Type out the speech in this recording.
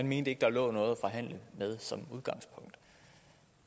mente at der var noget at forhandle med